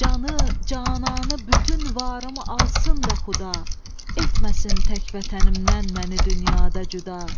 Canı, cananı, bütün varımı alsın da Xuda, etməsin tək vətənimdən məni dünyada cüda.